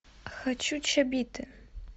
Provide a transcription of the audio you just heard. хочу чобиты